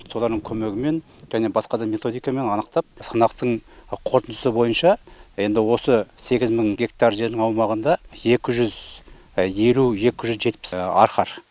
солардың көмегімен және басқа да методикамен анықтап санақтың қорытындысы бойынша енді осы сегіз мың гектар жердің аумағында екі жүз елу екі жүз жетпіс арқар